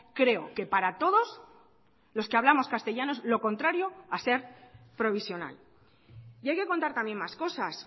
creo que para todos los que hablamos castellano es lo contrario a ser provisional y hay que contar también más cosas